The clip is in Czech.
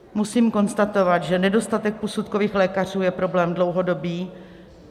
Musím konstatovat, že nedostatek posudkových lékařů je problém dlouhodobý.